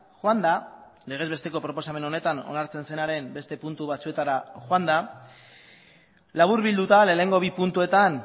joanda legez besteko proposamen honetan onartzen zenaren beste puntu batzuetara joanda laburbilduta lehenengo bi puntuetan